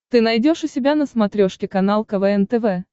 ты найдешь у себя на смотрешке канал квн тв